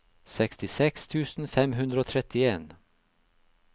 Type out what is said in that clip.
sekstiseks tusen fem hundre og trettien